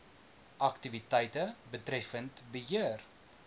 aktiwiteite betreffend beheer